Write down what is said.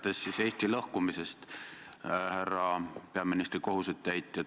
Jätkan siis Eesti lõhkumise teemal, härra peaministri kohusetäitja.